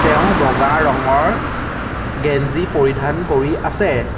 তেওঁ বগা ৰঙৰ গেঞ্জী পৰিধান কৰি আছে।